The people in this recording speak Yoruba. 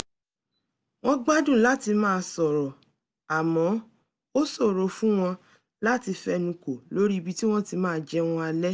wọ́n gbádùn láti máa sọ̀rọ̀ àmọ́ ó ṣòro fún wọn láti fẹnukò lórí ibi tí wọ́n ti máa jẹun alẹ́